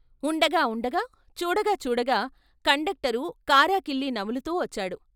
ఉండగా ఉండగా చూడగా చూడగా కండక్టరు కారాకళ్ళీ నములుతూ వచ్చాడు.